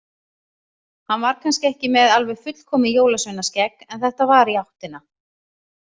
Hann var kannski ekki með alveg fullkomið jólsveinaskegg, en þetta var í áttina.